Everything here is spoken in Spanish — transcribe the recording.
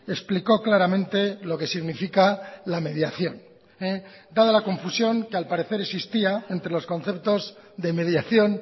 explicó claramente lo que significa la mediación dada la confusión que al parecer existía entre los conceptos de mediación